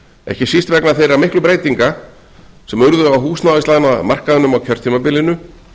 ekki síst vegna þeirra miklu breytinga sem urðu á húsnæðislánamarkaðnum á kjörtímabilinu